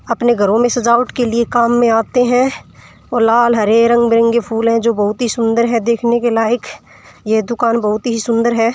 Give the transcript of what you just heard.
अपने घरो में सजावट के लिए कामो में आते है और लाल हरे रंग बिरंगे फूल है जो बहु ही सुन्दर है देखने क लायक यह दुकान बहुत ही सुन्दर है।